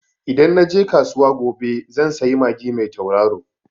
Idan na je kasuwa gobe zan sayi magi mai tauraro.